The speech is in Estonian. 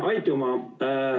Aitüma!